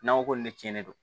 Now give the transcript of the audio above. N'an ko ko nin tiɲɛni don